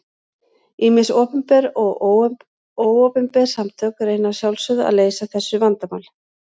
Ýmis opinber og óopinber samtök reyna að sjálfsögðu að leysa þessu vandamál.